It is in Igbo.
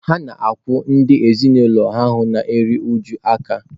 Ha na-akwụ ndị ezinụlọ ha na-eru uju aka